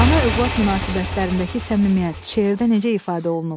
Ana-övlad münasibətlərindəki səmimiyyət şeirdə necə ifadə olunub?